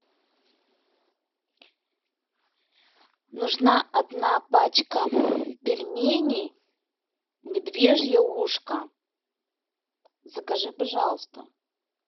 нужна одна пачка пельменей медвежье ушко закажи пожалуйста